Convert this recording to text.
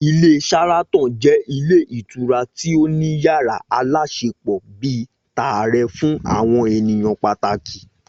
Ilé Sharaton jẹ́ ilé ìtura tí ó ní yàrá aláṣepọ̀ bíi tààrẹ fún àwọn ènìyàn pàtàkì